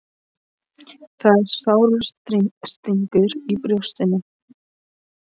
Það er sár stingur í brjóstinu.